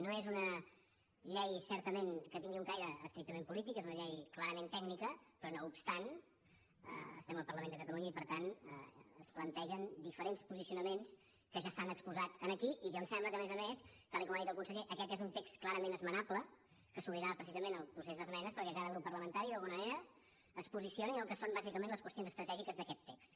no és una llei certament que tingui un caire estrictament polític és una llei clarament tècnica però no obstant això estem al parlament de catalunya i per tant es plantegen diferents posicionaments que ja s’han exposat aquí i que em sembla que a més a més tal com ha dit el conseller aquest és un text clarament esmenable que s’obrirà precisament al procés d’esmenes perquè cada grup parlamentari d’alguna manera es posicioni en el que són bàsicament les qüestions estratègiques d’aquest text